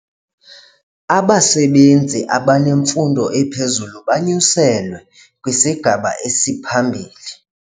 Abasebenzi abanemfundo ephezulu banyuselwe kwisigaba esiphambili.